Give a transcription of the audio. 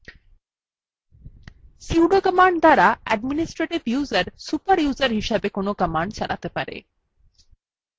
sudo command দ্বারা administrative user super user হিসেবে কোনো command চালাতে পারে